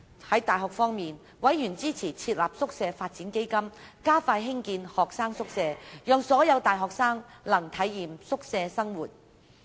在大學方面，委員支持設立宿舍發展基金，加快興建學生宿舍，讓所有大學生能體驗宿舍生活。